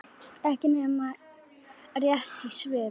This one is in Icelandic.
Ekki nema rétt í svip.